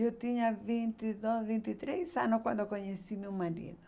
Eu tinha vinte e dois, vinte e três anos quando conheci meu marido.